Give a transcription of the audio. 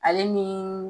Ale ni